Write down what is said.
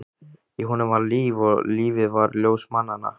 Í honum var líf, og lífið var ljós mannanna.